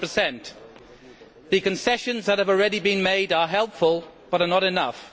100. The concessions that have already been made are helpful but are not enough.